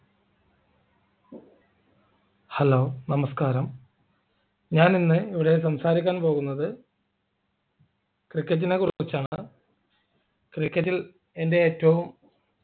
hello നമസ്‍കാരം ഞാനിന്നു ഇവിടെ സംസാരിക്കാൻ പോകുന്നത് cricket നെക്കുറിച്ചാണ് cricket ൽ എൻ്റെ ഏറ്റവും